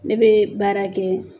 Ne bɛ baara kɛ